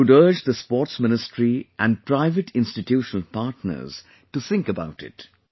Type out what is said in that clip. I would urge the Sports Ministry and private institutional partners to think about it